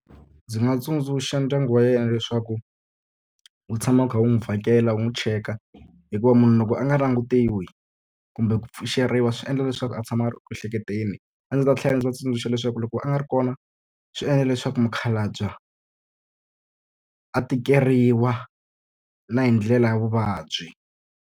Ndzi nga tsundzuxa ndyangu wa yena leswaku wu tshama wu kha wu n'wi vhakela wu n'wi cheka. Hikuva munhu loko a nga langutiwi kumbe ku pfuxeriwa swi endla leswaku a tshama a ri ku ehleketeni. A ndzi ta tlhela ndzi va tsundzuxa leswaku loko a nga ri kona swi endla leswaku mukhalabye a tikeriwa na hi ndlela ya vuvabyi.